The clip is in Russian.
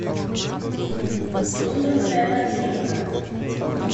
лондонская подземка